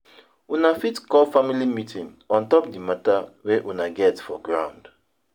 Una fit call family meeting on top di matter wey una get for ground